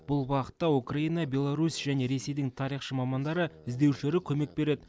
бұл бағытта украина беларусь және ресейдің тарихшы мамандары іздеушілері көмек береді